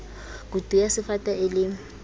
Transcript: kutu ya sefate e le